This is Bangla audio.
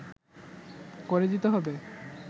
করে দিতে হবে